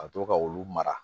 Ka to ka olu mara